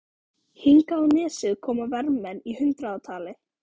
Hingað á nesið koma vermenn í hundraðatali.